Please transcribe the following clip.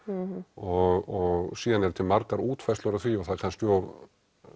og síðan eru til margar útfærslur af því og það er kannski of